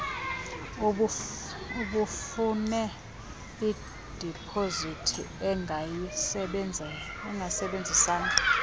ubufune idipozithi ungayisebenzisa